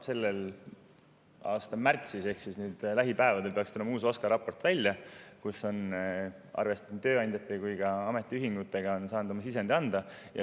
Selle aasta märtsis ehk siis nüüd lähipäevadel peaks tulema välja uus OSKA raport, kus on arvestatud nii tööandjate kui ka ametiühingutega, nad on saanud oma sisendi anda.